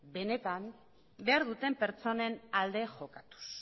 benetan behar duten pertsonen alde jokatuz